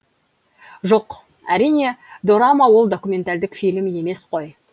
жоқ әрине дорама ол документальдік фильм емес қой